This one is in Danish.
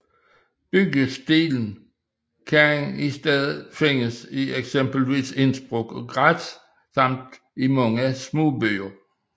Byggestilen kan i stedet findes i eksempelvis Innsbruck og Graz samt i mange små byer